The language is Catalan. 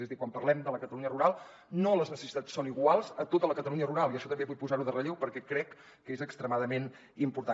és a dir quan parlem de la catalunya rural les necessitats no són iguals a tota la catalunya rural i això també vull posar ho en relleu perquè crec que és extremadament important